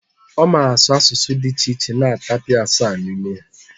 Ọ mara asụ asụsụ dị iche iche na tapia asaa n'ime ha